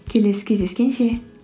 келесі кездескенше